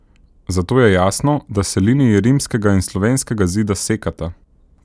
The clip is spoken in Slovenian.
Zato je jasno, da se liniji rimskega in slovenskega zida sekata.